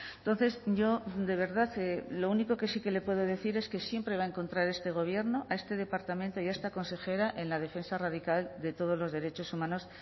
entonces yo de verdad lo único que sí que le puedo decir es que siempre va a encontrar este gobierno a este departamento y a esta consejera en la defensa radical de todos los derechos humanos